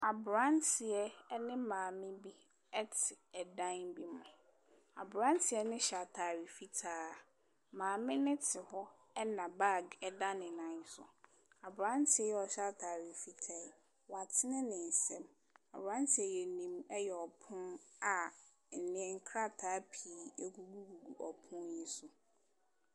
Abranteɛ ɛne maame bi ɛte ɛdan bi mu. Abranteɛ no hyɛ ataare fitaa. Maame no te hɔ ɛna baag ɛda ne nnan so. Abranteɛ yi a ɔhyɛ ataare fitaa yi, w'atene n'ensam. Abranteɛ yi anim ɛyɛ ɔpon a nkrataa pii agugu gugu ɔpon yi so.